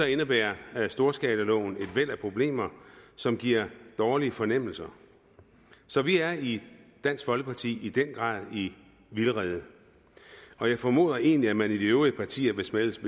indebærer storskalaloven et væld af problemer som giver dårlige fornemmelser så vi er i dansk folkeparti i den grad i vildrede og jeg formoder egentlig at man i de øvrige partier hvis man ellers